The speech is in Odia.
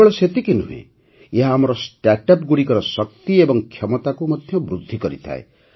କେବଳ ସେତିକି ନୁହେଁ ଏହା ଆମର ଷ୍ଟାର୍ଟଅପ୍ ଗୁଡ଼ିକର ଶକ୍ତି ଏବଂ କ୍ଷମତାକୁ ମଧ୍ୟ ବୃଦ୍ଧି କରିଥାଏ